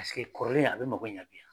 kɔrɔlen a bɛ mago ɲɛ bi